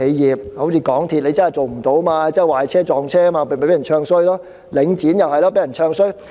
以港鐵公司為例，它真的做得不好，又壞車，又撞車，於是便被人"唱衰"，而領展也被人"唱衰"。